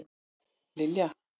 Lilja